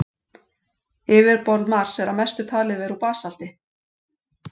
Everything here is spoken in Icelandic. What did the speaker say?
Yfirborð Mars er að mestu talið vera úr basalti.